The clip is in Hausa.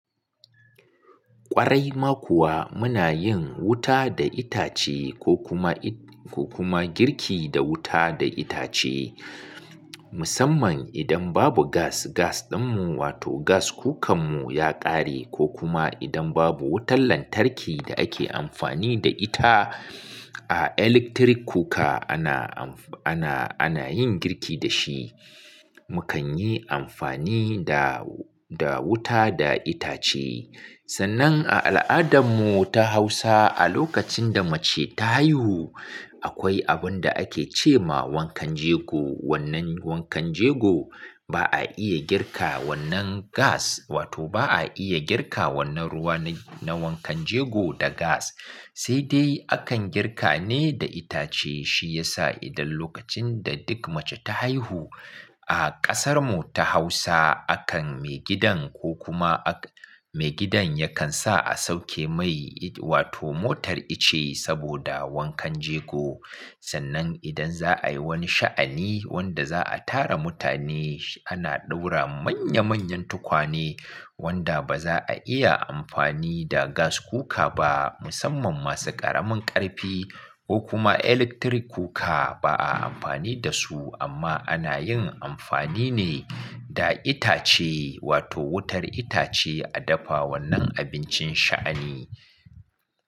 Ƙwarai ma kuwa muna yin wuta da itace ko kuma, ko kuma girki da wuta da itace. Musamman idan babu gas, gas ɗinmu wato gas cocker mu ya ƙare ko kuma idan babu wutar lantarki da ake amfani da ita a electric cocker ana amfa-- ana, ana yin girki da shi, mu kan yi amfani da, da wuta da itace. Sannan a al'adarmu ta Hausa a lokacin da mace ta haihu, akwai abun da ake ce ma wankan jego. Wannan wankan jego ba a iya girka wannan gas wato ba a iya girka wannan ruwa na wankan jego da gas. Sai dai akan girka ne da itace. Shi ya sa idan lokacin da duk mace ta haihu a ƙasarmu ta Hausa, akan maigidan ko kuma ak-- maigidan yakan sa a sauke mai wato motar ice saboda wankan jego. Sannan idan za a yi wani sha'ani wanda za a tara mutane, ana ɗaura manya manyan tukwane wanda ba za a iya amfani da gas cocker ba musamman masu ƙaramin ƙarfi ko kuma electric kuka ba a amfani da su amma ana yin amfani ne da itace wato wutar itace a dafa wannan abincin sha'ani.